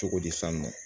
Cogodi san nɔ